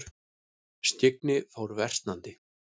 Skyggni fór versnandi.